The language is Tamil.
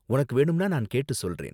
உனக்கு வேணும்னா நான் கேட்டு சொல்றேன்.